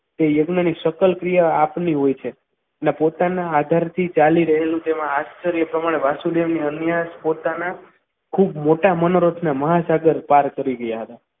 તે યજ્ઞાની સકલ સેવા આપેલી હોય છે અને પોતાના આધારથી ચાલી રહેલું તેમાં આચાર્ય પ્રમાણ વાસુદેવની અન્ય પોતાના ખૂબ મોટા મનોરથ ને મહાસાગર પાર કરી રહ્યા હતા.